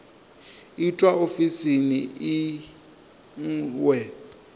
itwa ofisini i ṅ we